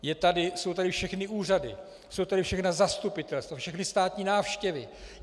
Jsou tady všechny úřady, jsou tady všechna zastupitelstva, všechny státní návštěvy.